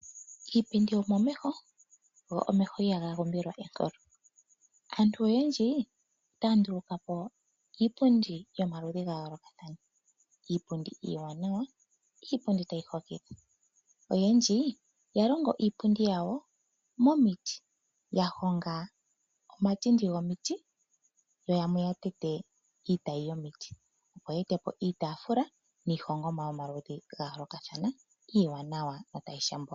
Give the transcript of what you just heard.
Iipindi omomeho go omeho ihaga umbilwa enkolo . Aantu oyendji otaya nduluka po iipundi yomaludhi ga yoolokathana Iipundi iiwanawa tayi hokitha. Oyendji ya longo iipundi yawo momiti, ya honga omatindi gomiti yo yamwe ya tete iitayi yomiti opo ya e te po iitafula nomaludhi giihongomwa ya yoolokathana iiwanawa notayi shambula.